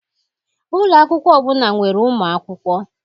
Ụlọ akwụkwọ ọbụla nwere ụmụ akwụkwọ